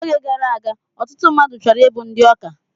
Oge gara aga, ọtụtụ mmadụ chọrọ ịbụ ndị ọkà